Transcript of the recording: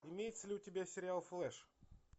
имеется ли у тебя сериал флеш